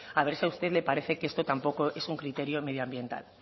a ver si a usted le parece que esto tampoco es un criterio medioambiental